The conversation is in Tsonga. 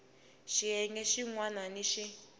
xiyenge xin wana ni xin